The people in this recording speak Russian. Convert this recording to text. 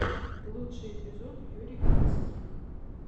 лучший эпизод юрий клинских